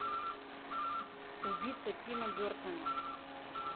убийца тима бертона